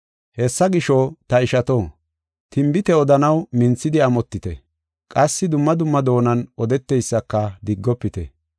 Hessa gisho, ta ishato, tinbite odanaw minthidi amotite; qassi dumma dumma doonan odeteysaka diggofite.